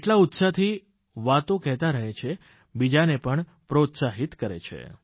એટલા ઉત્સાહથી વાતો કહેતા રહે છે બીજાને પણ પ્રોત્સાહિત કરે છે